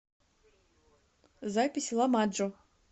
запись ламаджо